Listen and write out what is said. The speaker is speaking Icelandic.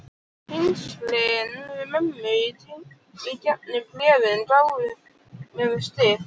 Tengslin við mömmu í gegnum bréfin gáfu mér styrk.